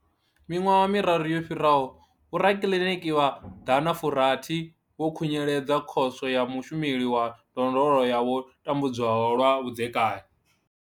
Miṅwaha miraru yo fhiraho, vhorakiḽiniki vha ḓana furathi vho khunyeledza Khoso ya Mushumeli wa Ndondolo ya vho tambudzwaho lwa vhudzekani.